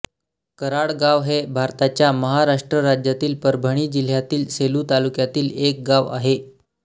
कराडगाव हे भारताच्या महाराष्ट्र राज्यातील परभणी जिल्ह्यातील सेलू तालुक्यातील एक गाव आहे